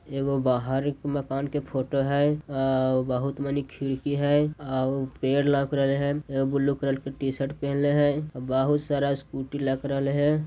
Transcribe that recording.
एक गो बाहर एक मकान की फ़ोटो है अ बहुत मनी खिड़की हैं और पेड़ लग रेले हैं ब्लू कलर की टीशर्ट पहनले है बहुत सारा स्कूटी लग रहे हैं।